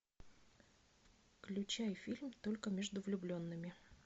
включай фильм только между влюбленными